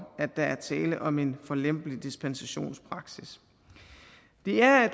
at der er tale om en for lempelig dispensationspraksis det er